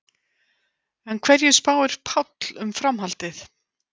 En hverju spáir Páll um framhaldið?